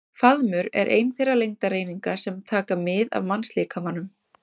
Faðmur er ein þeirra lengdareininga sem taka mið af mannslíkamanum.